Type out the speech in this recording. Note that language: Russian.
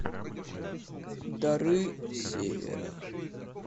дары севера